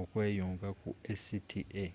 okweyunga ku acta